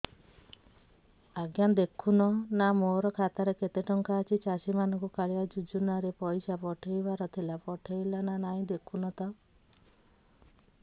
ଆଜ୍ଞା ଦେଖୁନ ନା ମୋର ଖାତାରେ କେତେ ଟଙ୍କା ଅଛି ଚାଷୀ ମାନଙ୍କୁ କାଳିଆ ଯୁଜୁନା ରେ ପଇସା ପଠେଇବାର ଥିଲା ପଠେଇଲା ନା ନାଇଁ ଦେଖୁନ ତ